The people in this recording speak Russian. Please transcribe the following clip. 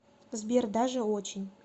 сбер даже очень